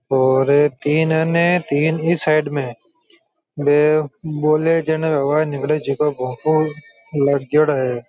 और तीना ने तीन इस साइड में --